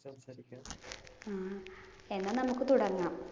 ആഹ് എന്നാ നമുക്ക് തുടങ്ങാം.